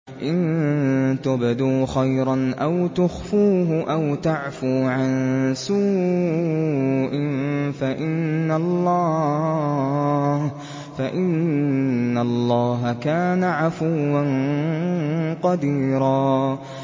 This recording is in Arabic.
إِن تُبْدُوا خَيْرًا أَوْ تُخْفُوهُ أَوْ تَعْفُوا عَن سُوءٍ فَإِنَّ اللَّهَ كَانَ عَفُوًّا قَدِيرًا